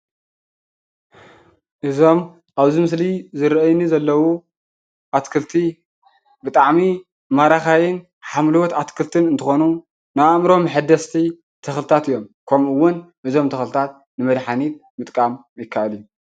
እዞም ኣብ እዚ ምስሊ ዝርኣይኒ ዘለው ኣትክልቲ ብጣዓሚ ማራኻይን ሓምለወት ኣትክልቲ እንትኾኑ ንኣእምሮ መሐደስቲ ተኽሊታት እዮም። ከምኡ እውን ብዞም ንመዳሓኒት ምጥቃም ይካኣል እዩ።